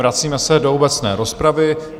Vracíme se do obecné rozpravy.